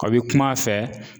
O bi kum'a fɛ